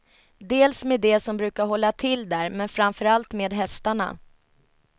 Dels med de som brukade hålla till där, men framför allt med hästarna.